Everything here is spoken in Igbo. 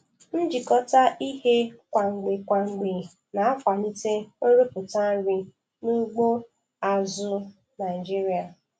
Njikọta ihe kwa mgbe kwa mgbe na-akwalite nrụpụta nri n'ugbo azụ̀ Naịjiria.